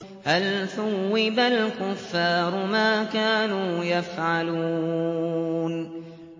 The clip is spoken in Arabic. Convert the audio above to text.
هَلْ ثُوِّبَ الْكُفَّارُ مَا كَانُوا يَفْعَلُونَ